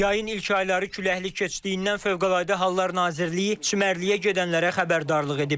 Yayın ilk ayları küləkli keçdiyindən Fövqəladə Hallar Nazirliyi çimərliyə gedənlərə xəbərdarlıq edib.